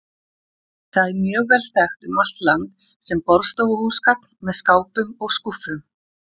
Það er mjög vel þekkt um allt land sem borðstofuhúsgagn með skápum og skúffum.